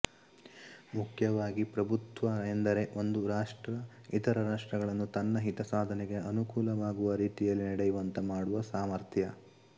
ಮುಖ್ಯವಾಗಿ ಪ್ರಭುತ್ವ ಎಂದರೆ ಒಂದು ರಾಷ್ಟ್ರ ಇತರ ರಾಷ್ಟ್ರಗಳನ್ನು ತನ್ನ ಹಿತಸಾಧನೆಗೆ ಅನುಕೂಲವಾಗುವ ರೀತಿಯಲ್ಲಿ ನಡೆಯುವಂತೆ ಮಾಡುವ ಸಾಮಥರ್್ಯ